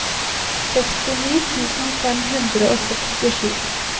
sekstini tusen fem hundre og sekstisju